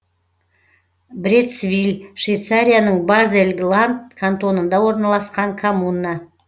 брецвиль швейцарияның базель ланд кантонында орналасқан коммуна